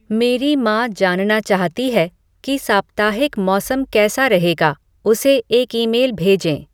मेरी माँ जानना चाहती है कि साप्ताहिक मौसम कैसा रहेगा उसे एक ईमेल भेजें